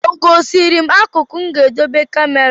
Ọ gosiri m akụkụ m ga-edebe kamera?